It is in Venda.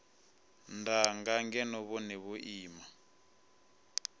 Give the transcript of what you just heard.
danga ngeno vhone vho ima